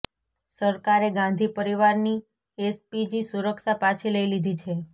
સરકારે ગાંધી પરિવારની એસપીજી સુરક્ષા પાછી લઈ લીધી છે